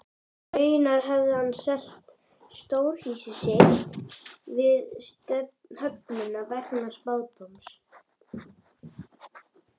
Raunar hafði hann selt stórhýsi sitt við höfnina vegna spádóms.